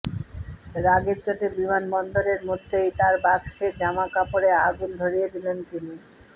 রাগের চোটে বিমানবন্দরের মধ্যেই তাঁর বাক্সের জামাকাপড়ে আগুন ধরিয়ে দিলেন তিনি